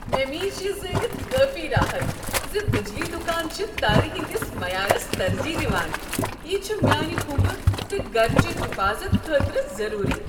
مےٚ میج یہ زٲنِتھ کٲفی راحت ز بجلی دکان چھ تارِ ہٕندِس معیارس ترجیح دوان۔ یہ چھ میانِہ كمبہٕ تہٕ گرچہ حفاظت خٲطرٕ ضٔروٗری۔